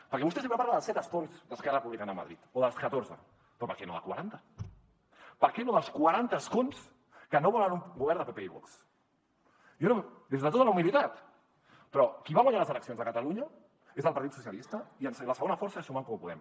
perquè vostè sempre parla dels set escons d’esquerra republicana a madrid o dels catorze però per què no de quaranta per què no dels quaranta escons que no volen un govern de pp i vox jo des de tota la humilitat però qui va guanyar les eleccions de catalunya és el partit socialista i la segona força som en comú podem